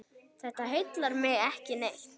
Þetta heillar mig ekki neitt.